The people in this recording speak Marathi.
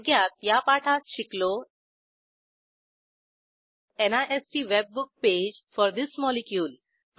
थोडक्यात या पाठात शिकलो NIST webbook page for this molecule